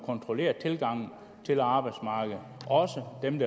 kontrollere tilgangen til arbejdsmarkedet også for dem